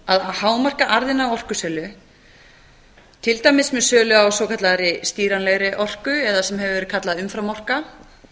að hámarka arðinn af orkusölu til dæmis með sölu á svokallaðri stýranlegri orku eða sem hefur verið kallað umfram orka